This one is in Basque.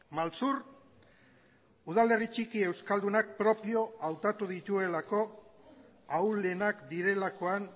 maltzur udalerri txiki euskaldunak propio hautatu dituelako ahulenak direlakoan